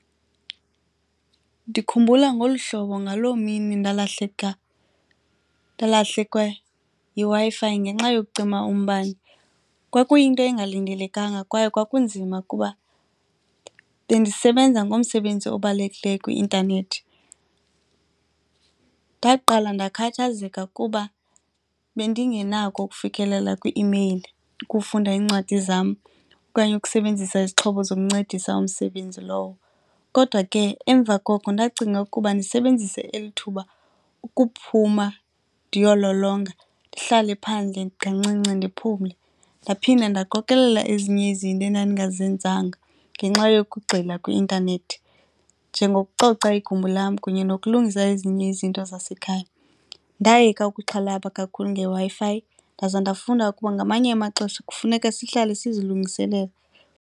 Ndikhumbula ngolu hlobo ngaloo mini ndalahleka, ndalahlekwa yiWi-Fi ngenxa yokucima umbane. Kwakuyinto engalindelekanga kwaye kwakunzima kuba bendisebenza ngomsebenzi obalulekileyo kwi-ntanethi. Ndaqala ndakhathazeka kuba bendingenako ukufikelela kwi-imeyili, ukufunda iincwadi zam okanye ukusebenzisa izixhobo zokuncedisa umsebenzi lowo. Kodwa ke emva koko ndacinga ukuba ndisebenzise eli thuba ukuphuma ndiyololonga, ndihlale phandle kancinci ndiphumle. Ndaphinda ndaqokolela ezinye izinto endandingazenzanga ngenxa yokugxila kwi-intanethi, njengokucoca igumbi lam kunye nokulungisa ezinye izinto zasekhaya. Ndayeka ukuxhalaba kakhulu ngeWi-Fi ndaza ndafunda ukuba ngamanye amaxesha kufuneka sihlahle sizilungiselela.